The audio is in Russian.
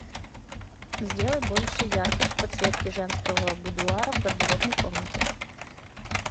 сделай больше яркость подсветки женского будуара в гардеробной комнате